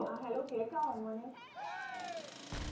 ആ Hello കേൾക്കാമോ മോനെ